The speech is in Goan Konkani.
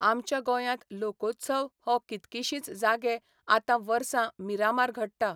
आमच्या गोंयांत लोकोत्सव हो कितकीशींच जागे आतां वर्सां मिरामार घडटा.